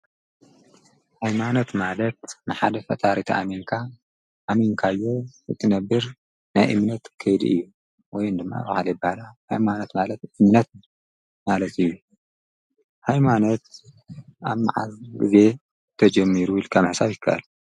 ሃይማኖት ማለት ንሓደ ፈጣሪ ተአሚንካ እሚንካዮ እትነብር ናይ እምነት ከይዲ እዩ። ወይ ድማ ብካሊእ አባህላ ሃይማኖት ማለት እምነት ማለት እዩ ። ሃይማኖት አብ መዓዝ ግዘ ተጀሚሩ ኢልካ ምሕሳብ ይክእል?